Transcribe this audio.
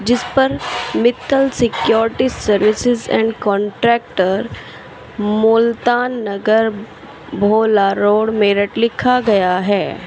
इसपर Mittal security services and contractor Multan Nagar Bhola road Meerut लिखा गया है।